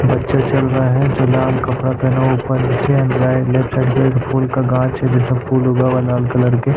बच्चा चल रहा है जो लाल कपड़ा पहनो ऊपर नीचे एंड्रॉयड लेफ्ट साइड के फूल का गाज है जैसा फूल होगा वह लाल कलर के --